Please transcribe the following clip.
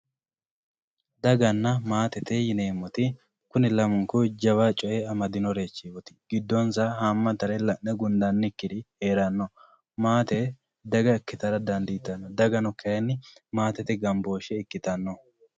daganna maatete yineemmoti kuni lamunku jawa coyee amadinorichooti giddonsa haammaturi la'ne gundannikkiri heeranno maate daga ikkitara dandiitanno dagano kayni maatete gambooshshee ikkitanno.